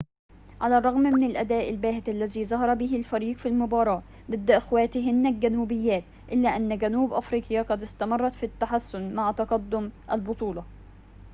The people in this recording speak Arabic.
على الرغم من أن الأداء الباهت الذي ظهر به الفريق في المباراة ضد أخواتهن الجنوبيات إلا أن جنوب أفريقيا قد استمرت في التحسن مع تقدم البطولة